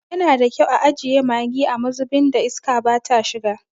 Yana da kyau a ajiye maggi a mazubin da iska bata shiga.